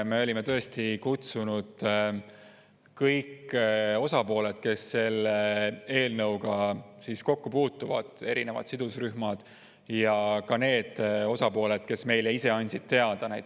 Me olime tõesti kutsunud sinna kõik osapooled, kes selle eelnõuga kokku puutuvad, erinevad sidusrühmad, ja ka need osapooled, kes meile ise teada andsid.